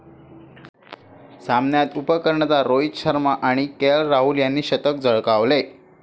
सामन्यात उपकर्णधार रोहित शर्मा आणि केएल राहुल यांनी शतक झळकावले.